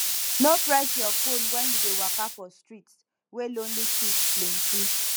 no press your phone when you dey waka for street wey lonely thieves plenty